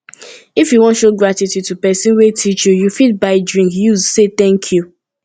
if you won show gratitude to persin wey teach you you fit buy drink use say thank you